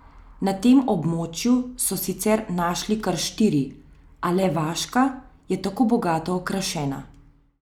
Na tem območju so sicer našli kar štiri, a le vaška je tako bogato okrašena.